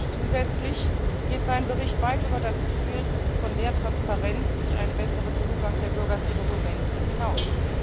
Und zusätzlich geht sein Bericht weit über das Ziel von mehr Transprenz durch einen besseren Zugang der Bürger zu Dokumenten hinaus.